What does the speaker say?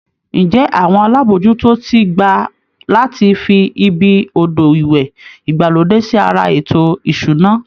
Ǹjẹ́ àwọn alábòójútó ti gbà láti fi ibi odò ìwẹ̀ ìgbàlódé sí ara ètò ìṣúná?